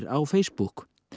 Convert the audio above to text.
á Facebook